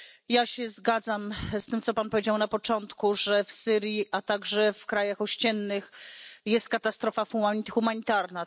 Ja się zgadzam z tym, co Pan powiedział na początku, że w Syrii, a także w krajach ościennych, jest katastrofa humanitarna.